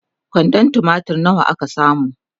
kwandon tumatir nawa ka samu?